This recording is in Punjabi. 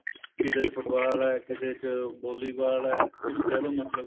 ਕਿਸੇ ਚ football ਏ ਕਿਸੇ ਚ volleyball ਏ ਤੁਸੀਂ ਕਹਿ ਲੋ ਮਤਲਬ